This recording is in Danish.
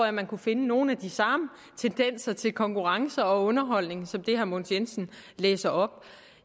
at man kunne finde nogle af de samme tendenser til konkurrencer og underholdning som det herre mogens jensen læser op